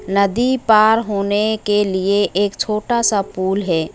नदी पार होने के लिए एक छोटा सा पुल है।